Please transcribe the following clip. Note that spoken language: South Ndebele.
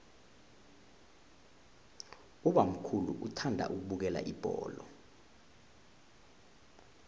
ubamkhulu uthanda ukubukela ibholo